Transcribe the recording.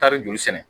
Taari joli sɛnɛ